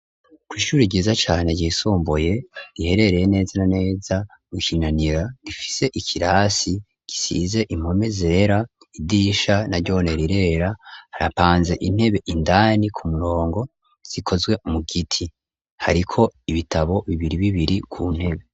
Ko'ishuri ryiza cane ryisomboye iherereye neza aneza gusinanira rifise ikirasi gisize impome zera idisha na ryone rirera harapanze intebe indani ku murongo zikozwe mu giti hariko ibitabo bibiri bibiri ku ntebe.